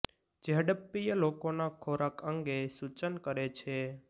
જે હડપ્પીય લોકોના ખોરાક અંગે સૂચન કરે છે